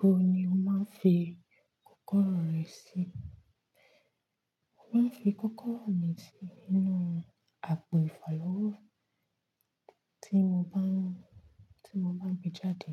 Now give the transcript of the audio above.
Ibo ni o máa ń fi kọ́kọ́rọ́ rẹ sí? Mo máa ń fi kọ́kọ́rọ́ mi sí inú àpò ìfàlọ́wọ́ tí mo bá ń, tí mo bá ń gbé jáde